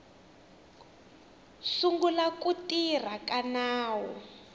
sungula ku tirha ka nawu